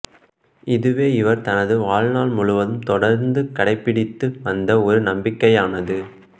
இதுவே இவர் தனது வாழ்நாள் முழுவதும் தொடர்ந்து கடைபிடித்து வந்த ஒரு நம்பிக்கையானது